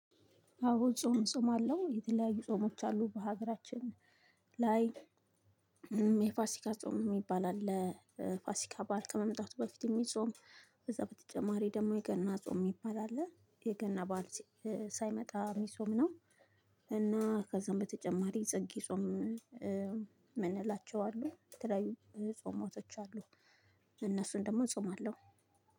አዎ ጾም ጾማለው የተለያዩ ጾሞች አሉ በሀገራችን ላይ እ የፋሲካ ጾም የሚባል አለ እ ፋሲካ በዓል ከመምጣቱ በፊት የሚጾም። ከዛ በተጨማሪ ደግሞ የገና ጾም የሚባል አለ የገና በዓል እ ሳይመጣ የሚጾም ነው። እና ከዛም በተጨማሪ ጽጌ ጾም እ ምንላቸው አሉ የተለያዩ እ ጾማቶች አሉ። እነሱን ደግሞ እጾማለሁ።